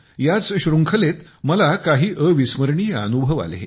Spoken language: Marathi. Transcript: याच शृंखलेत मला काही अविस्मरणीय अनुभव आले